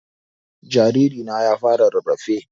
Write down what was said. Jariri na ya fara rarrafe